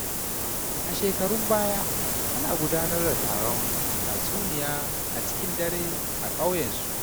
A shekarun baya, ana gudanar da taron tatsuniyoyi a cikin dare a ƙauyensu.